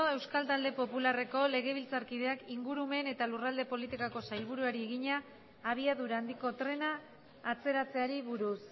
euskal talde popularreko legebiltzarkideak ingurumen eta lurralde politikako sailburuari egina abiadura handiko trena atzeratzeari buruz